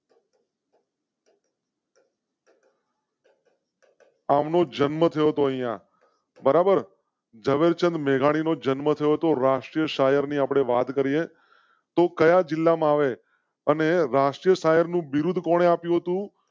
અમૃત જન્મ થયો તો અહિયાં બરાબર ઝવેર ચંદ મેઘાણી નો જન્મ થયો હતો. રાષ્ટ્રીય શાયર ને આપણે વાત કરીએ તો કયા જિલ્લામાં આવે અને રાષ્ટ્રીય શાયરનું બિરૂદ કોણે આપ્યો? તું